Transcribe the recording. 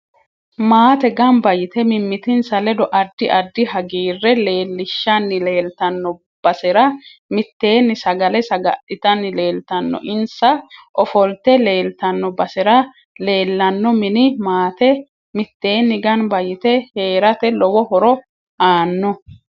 Maate ganba yitte mimitinsa ledo addi addi hagiire leelishani leeltanno basera mitteni sagale sagalitani leeltanno insa ofolte leeltanno basera leelanno mini maate miteeni ganba yite heerate lowo horo aano